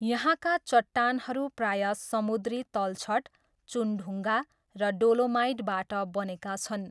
यहाँका चट्टानहरू प्रायः समुद्री तलछट, चुनढुङ्गा र डोलोमाइटबाट बनेका छन्।